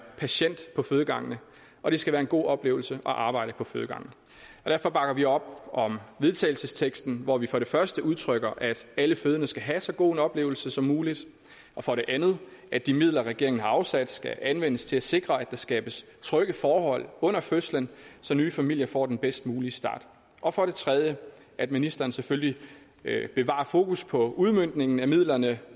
patient på fødegangen og det skal være en god oplevelse at arbejde på fødegangen derfor bakker vi op om vedtagelsesteksten hvor vi for det første udtrykker at alle fødende skal have en så god oplevelse som muligt for det andet at de midler som regeringen har afsat skal anvendes til at sikre at der skabes trygge forhold under fødslen så nye familier får den bedst mulige start og for det tredje at ministeren selvfølgelig bevarer fokus på udmøntningen af midlerne